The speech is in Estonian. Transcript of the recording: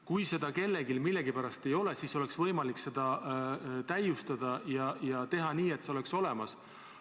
Kui seda kellelgi millegipärast ei ole, siis on võimalik süsteemi täiustada ja teha nii, et see oleks seal olemas.